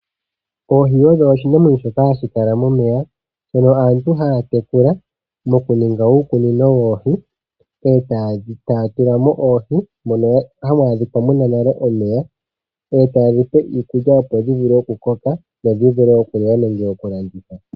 Oohi odho oshinamwenyo shoka hashi kala momeya shono aantu haya tekula mokuninga uukunino woohi, e taye dhi tula mo oohi moka hamu adhika muna nale omeya. E taye dhi pe iikulya opo dhi vule okukoka dho dhi vule okuliwa nenge okulandithwa.